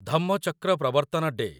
Dhammachakra Pravartan day